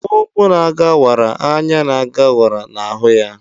Ukwu na ga wara; anya na ga wara na hu ya